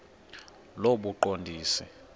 lobuqondisi